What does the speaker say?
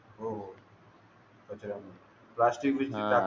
हो हो राष्ट्रीय विविधता